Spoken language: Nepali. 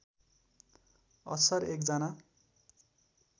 अस्सर एक जना